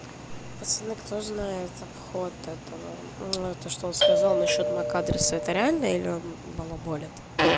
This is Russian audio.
пацаны кто знает обход этого то что он сказал насчёт мак адрес это реально или он балаболит